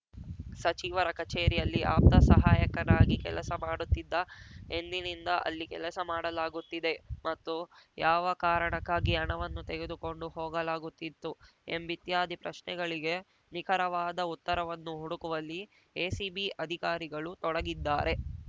ಸಚಿವರ ಕಚೇರಿಯಲ್ಲಿ ಆಪ್ತ ಸಹಾಯಕನಾಗಿ ಕೆಲಸ ಮಾಡುತ್ತಿದ್ದ ಎಂದಿನಿಂದ ಅಲ್ಲಿ ಕೆಲಸ ಮಾಡಲಾಗುತ್ತಿದೆ ಮತ್ತು ಯಾವ ಕಾರಣಕ್ಕಾಗಿ ಹಣವನ್ನು ತೆಗೆದುಕೊಂಡು ಹೋಗಲಾಗುತ್ತಿತ್ತು ಎಂಬಿತ್ಯಾದಿ ಪ್ರಶ್ನೆಗಳಿಗೆ ನಿಖರವಾದ ಉತ್ತರವನ್ನು ಹುಡುಕುವಲ್ಲಿ ಎಸಿಬಿ ಅಧಿಕಾರಿಗಳು ತೊಡಗಿದ್ದಾರೆ